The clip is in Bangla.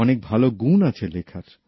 অনেক ভালো গুণ আছে লেখার